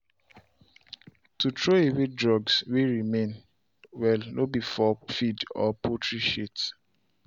to throw away drugs way remain well no be for feed or poultry shit.